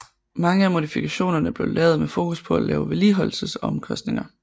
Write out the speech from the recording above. Mange af modifikationerne blev lavet med fokus på lave vedligeholdelsesomkostninger